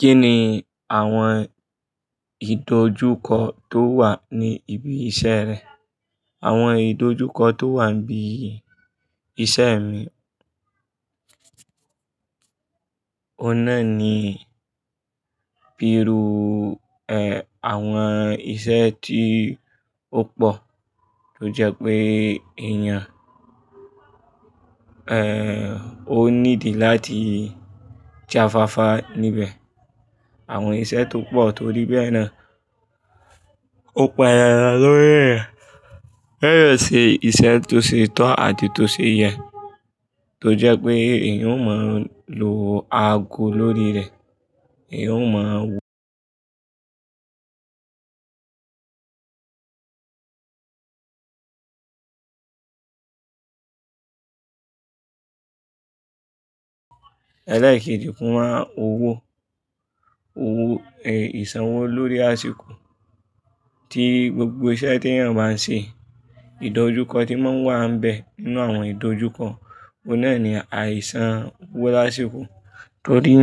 Kí ni àwọn ìdojúkọ tó wà ní ibi iṣẹ́ rẹ? Àwọn ìdojúkọ tó wà ní ibi iṣẹ́ mi, Oun nà ni bi'irü, ẹ́, àwọn iṣẹ́ tí ó pò tó jẹ́ pé èèyàn, ẹ́ẹ́, ó ní ìdí láti jáfáfá níbẹ̀. Àwọn iṣẹ́ tó pò tó rí bẹ́ẹ̀ náà ò pan dandan lórí rẹ̀. Ẹ̀yọ̀ ṣe iṣẹ́ tó ṣe tán àti tó ṣe yẹn tó jẹ́ pé èèyàn ó máa lo ago lórí rẹ̀, èèyàn ó máa wù. Ẹ lẹ́ekejì fún wa owó, owó, ẹ́, ìsanwó lórí àsìkò tí gbogbo iṣẹ́ tí èèyàn bá ń ṣe, ìdojúkọ tí wọ́n máa ń wà níbẹ̀ nínú àwọn ìdojúkọ, ọ̀nà ẹni àìsànwó lásìkò torí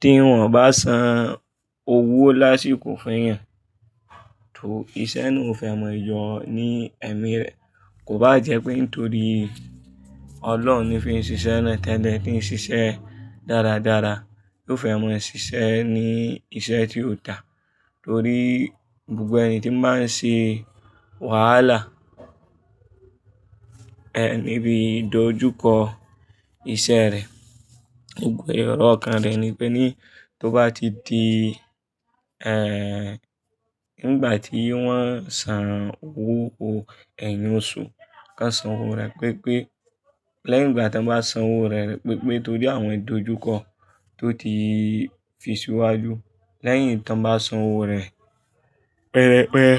tí wọ́n bá san owó lásìkò fún èèyàn, tó iṣẹ́ náà ò fẹ́ mọ yọ̀ ní ẹ̀mí rẹ̀. Kò bá jẹ́ pé nítorí Ọlọ́run ni fi n un ṣiṣẹ́ náà tẹ́lẹ̀ tí ń ṣiṣẹ́ dáradára, yóò fẹ́ mọ ṣiṣẹ́ ní iṣẹ́ tí ó dà. Torí gbogbo ẹni tí máa ń ṣe wàhálà, ẹ́, níbi ìdojúkọ iṣẹ́ rẹ̀. Gbogbọ ẹro ọkan rẹ̀ ni pé ní tó bá ti di, ẹ́ẹ́, nígbà tí wọ́n san owó, owó ẹ̀yin oṣù ká san owó rẹ̀ pipẹ́ lẹ́yìn ìgbà tí wọ́n bá san owó rẹ̀ ni pipẹ́ torí àwọn ìdojúkọ tó ti fi síwájú lẹ́yìn tí wọ́n bá san owó rẹ̀ pẹ́rẹpẹ̀re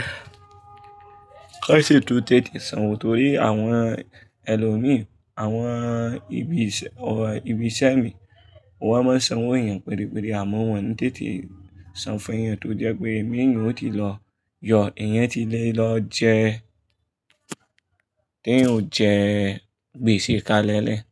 kán ṣe tó tètè san owó torí àwọn ẹlòmíràn, àwọn ibi iṣẹ́, àwọn ibi iṣẹ́ mi wọ́n máa ń san owó èèyàn pérépere àmọ́ wọ́n ń tètè san fún èèyàn tó jẹ́ pé èmi èèyàn ó ti lọ yọ̀, èèyàn ti lè lọ jẹ́, tí ẹ̀ ò jẹ́ gbèsè kalẹ̀lẹ̀